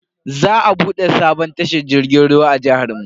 Za a bude sabon tashar jirgin ruwa a jihar mu.